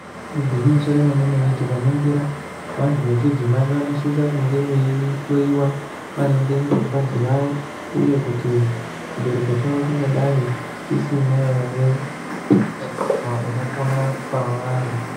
Igwinyiso remenemene tikaningira vantu vechidzimai vanosise kunge veihloyiwa maringe ngengazi yavo uye kuti chibereko chavo chingadai chisina ere utachiwana unopona pavari.